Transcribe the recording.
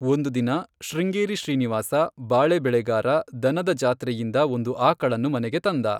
ಒಂದು ದಿನ, ಶೃಂಗೇರಿ ಶ್ರೀನಿವಾಸ, ಬಾಳೆ ಬೆಳೆಗಾರ, ದನದ ಜಾತ್ರೆಯಿಂದ ಒಂದು ಆಕಳನ್ನು ಮನೆಗೆ ತಂದ.